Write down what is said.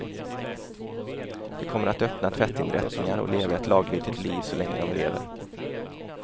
De kommer att öppna tvättinrättningar och leva ett laglydigt liv så länge de lever.